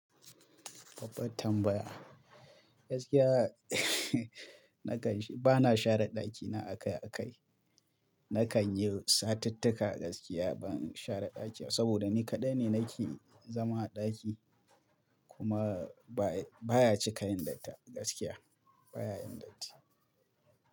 Baɓɓar tambaya. Gaskiya nakan, ba na share ɗakina akai-akai. Na kan yi satittika gaskiya ban share ɗaki ba saboda ni kaɗai ne nake zama a ɗaki kuma ba baya cika yin datti gaskiya baya yin datti.